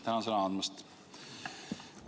Tänan sõna andmast!